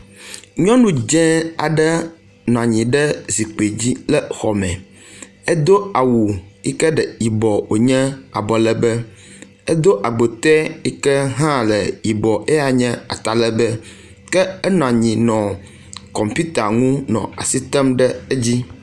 Nyɔnu dze aɖe nɔ anyi ɖe zikpui dzi le xɔ me edo awu yike le yibɔ wonye abɔlegbe edo agbote yi ke hã le yibɔ eya nye atalegbe ke enɔ anyi nɔ kɔmputa ŋu nɔ asi tem ɖe edzi.